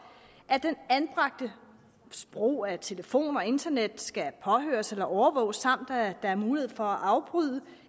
at den anbragtes brug af telefon og internet skal påhøres eller overvåges samt at der er mulighed for at afbryde